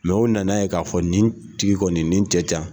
o na na ye k'a fɔ nin tigi kɔni nin cɛ tɛ yan.